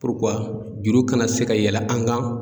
juru kana se ka yɛlɛ an kan.